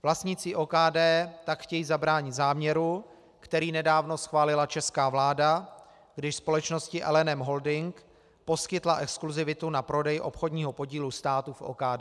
Vlastníci OKD tak chtějí zabránit záměru, který nedávno schválila česká vláda, když společnosti LNM Holdings poskytla exkluzivitu na prodej obchodního podílu státu v OKD.